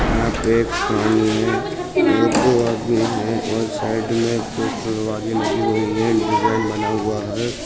यहाँ पर एक सामने एक दो आदमी हैं और साइड में हुई हैं डिज़ाइन बना हुआ है।